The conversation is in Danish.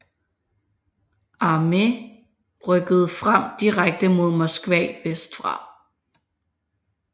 Armée rykkede frem direkte mod Moskva vestfra